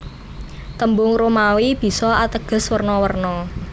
Tembung Romawi bisa ateges werna werna